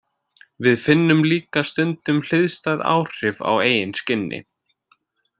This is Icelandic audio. Við finnum líka stundum hliðstæð áhrif á eigin skinni.